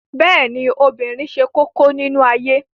Bẹ́ẹ̀ ni, obìnrin ṣe kókó nínú ayé